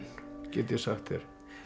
get ég sagt þér